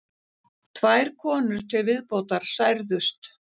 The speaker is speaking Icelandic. Tvær konur til viðbótar særðust